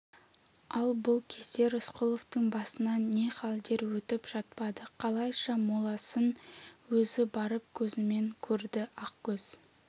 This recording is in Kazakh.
ал бұл кезде рысқұловтың басынан не халдер өтіп жатпады қалайша моласын өзі барып көзімен көрді ақкөз